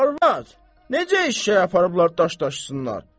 Arvad, necə eşşəyi aparıblar daş daşısınlar?